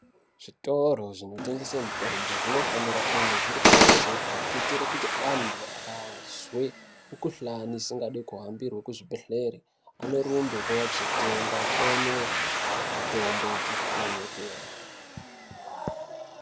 Zvitoro zvinotengese mitombo zvinofanira kunge zviri pakajeka kuitire kuti anthu akazwe mikuhlani isingadi kuhambirwe kuzvibhedhlere anorumbe kuuya kuzotenga mitombo mikuhlani yopera.